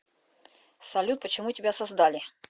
салют почему тебя создали